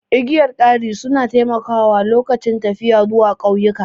Igiyar kari su na taimakawa lokacin tafiya zuwa ƙauyuka